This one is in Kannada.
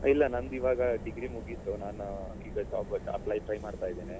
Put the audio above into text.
ಇಲ್ಲ ನಂದಿವಾಗ degree ಮುಗಿತು ನಾನು ಈಗ job ಗೆ apply, try ಮಾಡ್ತಿದ್ದೇನೆ